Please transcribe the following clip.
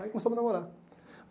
Aí começou a me namorar.